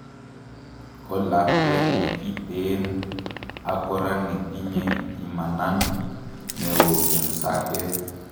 Ko lakwet ne kiteen ak kora netinye imanan neo en sapet